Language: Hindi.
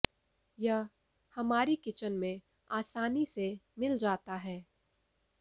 यह हमारी किचन में आसानी से मिल जाता है